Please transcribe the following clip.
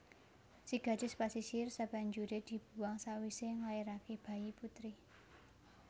Si Gadis pasisir sabanjuré dibuwang sawisé nglairaké bayi putri